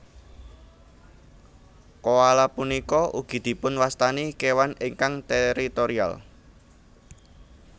Koala punika ugi dipun wastani kéwan ingkang teritorial